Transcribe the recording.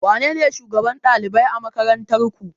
Wanene shugaban ɗalibai a makarantar ku